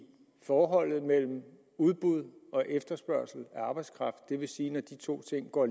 forholdet mellem udbud og efterspørgsel af arbejdskraft det vil sige at når de to ting går